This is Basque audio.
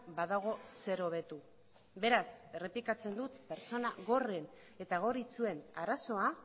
badago zer hobetu beraz errepikatzen dut pertsona gorren eta gor itsuen arazoa